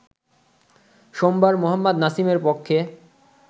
সোমবার মোহাম্মদ নাসিমের পক্ষে